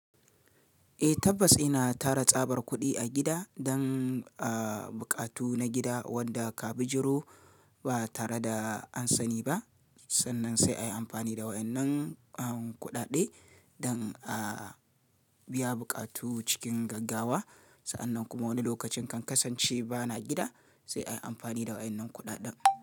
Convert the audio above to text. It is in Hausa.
Eh tabbas ina tara tsabar kuɗi a gida dan a buƙatu na gida wanda ka bijiro ba tare da an sani ba. Sannan sai ayi amfani da wayan nan kuɗaɗe dan a biya buƙatu cikin gaggawa. Sa'annan kuma wani lokacin kan kasance bana gida sai ayi amfani da wayan nan kuɗaɗen.